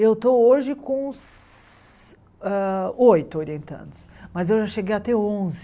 Eu estou hoje com se ah oito orientandos, mas eu já cheguei até onze.